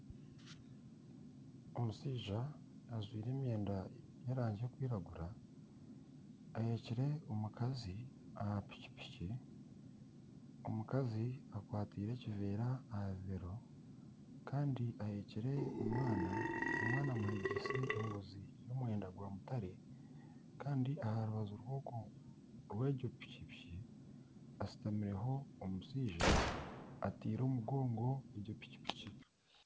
Omushaija ajwaire emyenda y'erangi erikwiragura aheekire omukazi aha piki piki omukazi akwataire ekiveera aha bibeero kandi aheekire omwana, omwana amuheekise engozi y'omwenda gwa mutare kandi aha rubaju rw'egyo piki piki hashutamireho omushaija atiire omugongo egi piki piki.